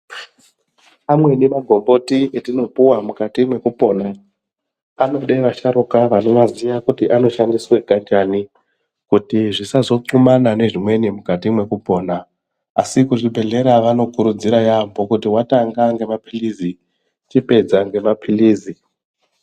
Amweni magomboti etinopuwa mukati mwekupona anode vasharukwa vanoziya kuti anoshandiswa kanjani kuti zvisazo nxumana nezvimweni mukati mwekupona asi kuzvibhedhlera vanokurudzira yambo kuti watanga ngemaphilizi chipedza ngemaphilizi.